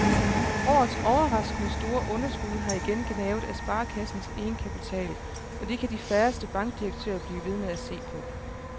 Årets overraskende store underskud har igen gnavet af sparekassens egenkapital, og det kan de færreste bankdirektører blive ved med at se på.